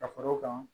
Ka fara o kan